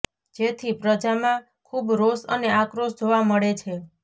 જેથી પ્રજામાં ખુબ રોષ અને આક્રોશ જોવા મળે છે